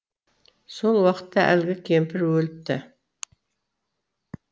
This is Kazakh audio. сол уақытта әлгі кемпір өліпті